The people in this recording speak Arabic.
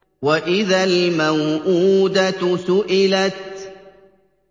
وَإِذَا الْمَوْءُودَةُ سُئِلَتْ